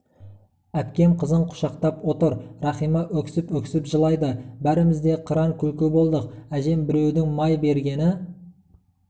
әкпем қызын құшақтап отыр рахима өксіп-өксіп жылайды бәріміз де қыран күлкі болдық әжем біреудің май бергені